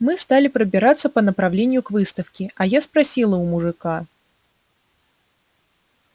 мы стали пробираться по направлению к выставке а я спросила у мужика